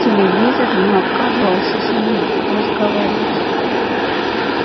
телевизор не отказывался с ним разговаривать